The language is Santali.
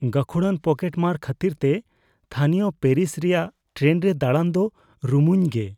ᱜᱟᱹᱠᱷᱩᱲᱟᱱ ᱯᱚᱠᱮᱴᱢᱟᱨ ᱠᱷᱟᱹᱛᱤᱨᱛᱮ ᱛᱷᱟᱹᱱᱤᱭᱚ ᱯᱮᱨᱤᱥ ᱨᱮᱭᱟᱜ ᱴᱨᱮᱱ ᱨᱮ ᱫᱟᱲᱟᱱ ᱫᱚ ᱨᱩᱢᱩᱧ ᱜᱮ ᱾